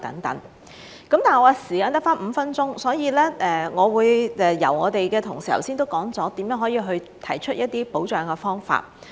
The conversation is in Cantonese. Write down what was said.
我的時間只剩下5分鐘，我的同事剛才都說了如何提出一些保障的方法。